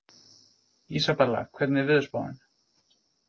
Isabella, hvernig er veðurspáin?